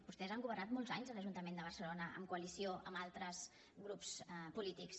vostès han governat molts anys a l’ajuntament de barcelona en coalició amb altres grups polítics